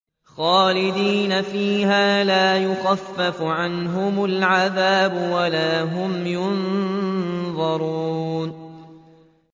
خَالِدِينَ فِيهَا لَا يُخَفَّفُ عَنْهُمُ الْعَذَابُ وَلَا هُمْ يُنظَرُونَ